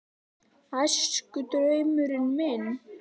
Æskudraumurinn minn?